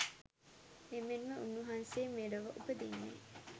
එමෙන්ම උන්වහන්සේ මෙලොව උපදින්නේ